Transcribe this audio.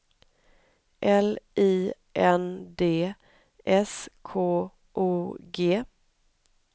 L I N D S K O G